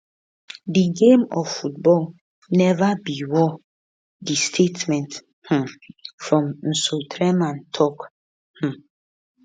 di game of football neva be war di statement um from nsoatreman tok um